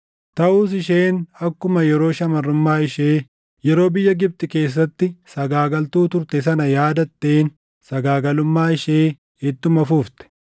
Taʼus isheen akkuma yeroo shamarrummaa ishee, yeroo biyya Gibxi keessatti sagaagaltuu turte sana yaadatteen sagaagalummaa ishee ittuma fufte.